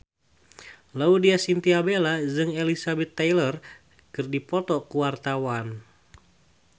Laudya Chintya Bella jeung Elizabeth Taylor keur dipoto ku wartawan